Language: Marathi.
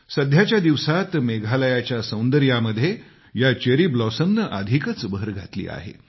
सध्याच्या दिवसात मेघालयाच्या सौंदर्यामध्ये या चेरी ब्लॉसमने अधिकच भर घातली आहे